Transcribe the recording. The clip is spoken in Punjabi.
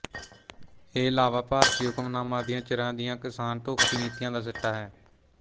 ਇਹ ਲਾਵਾ ਭਾਰਤੀ ਹੁਕਮਰਾਨਾਂ ਦੀਆਂ ਚਿਰਾਂ ਦੀਆਂ ਕਿਸਾਨ ਦੋਖੀ ਨੀਤੀਆਂ ਦਾ ਸਿੱਟਾ ਹੈ